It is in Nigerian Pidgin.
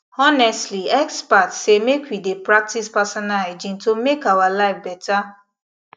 honestly experts say make we dey practice personal hygiene to make our life better